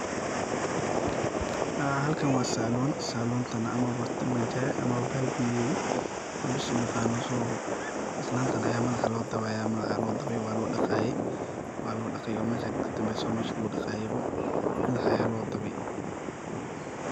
Haa halkan waa saloon, saloontan amaba tima jare amaba balb yeri hadba sidhu u yaqano soo. Islantan ayaa madaxa lo dabayaa, madaxa aya lodabay waa lo daqaye waa lodaqaay oo mesha kadanbeso waa meshaa lagu daqayebo madaxa aya lodabaay.